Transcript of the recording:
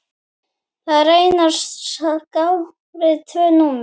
Þar reynast skráð tvö númer.